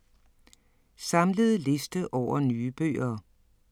Samlet liste over nye bøger